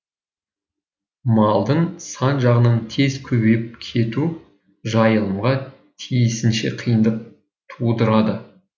малдың сан жағынан тез көбейіп кетуі жайылымға тиісінше қиындық тудырады